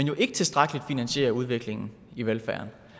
jo ikke tilstrækkeligt finansierer udviklingen i velfærden